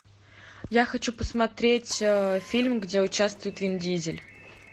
я хочу посмотреть фильм где участвует вин дизель